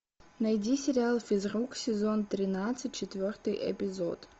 найди сериал физрук сезон тринадцать четвертый эпизод